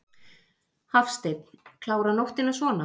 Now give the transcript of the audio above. Hafsteinn: Klára nóttina svona?